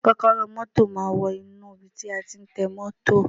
Kọ́kọ́rọ́ ọ mọ́tọ̀ máa wọnú ibi tí a tí ń tan mọ́tọ̀.